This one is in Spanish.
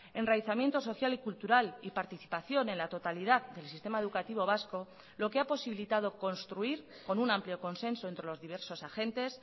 enraizamiento social y cultural y participación en la totalidad del sistema educativo vasco lo que ha posibilitado construir con un amplio consenso entre los diversos agentes